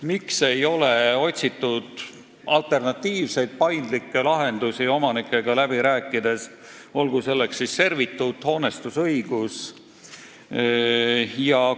Miks ei ole otsitud alternatiivseid, paindlikke lahendusi omanikega läbi rääkides, olgu selleks servituut, hoonestusõigus?